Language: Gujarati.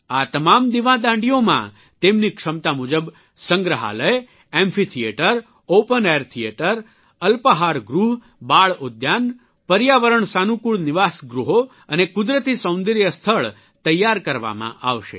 આ તમામ દિવાદાંડીઓમાં તેમની ક્ષમતા મુજબ સંગ્રહાલય amphitheatre open air theatre અલ્પાહારગૃહ બાળઉદ્યાન પર્યાવરણ સાનુકૂળ નિવાસગૃહો અને કુદરતી સૌંદર્ય સ્થળ તેયાર કરવામાં આવશે